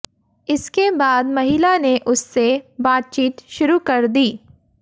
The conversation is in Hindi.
इसके बाद महिला ने उससे बातचीत शुरू कर दी